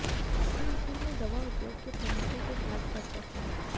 प्रधानमंत्री ने दवा उद्योग के प्रमुखों के साथ चर्चा की